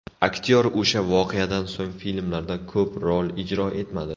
Aktyor o‘sha voqeadan so‘ng filmlarda ko‘p rol ijro etmadi.